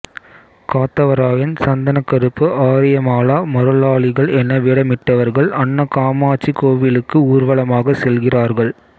காத்தவராயன் சந்தனக்கருப்பு ஆரியமாலா மருளாளிகள் என வேடமிட்டவர்கள் அன்னகாமாட்சி கோவிலுக்கு ஊர்வலமாக செல்கிறார்கள்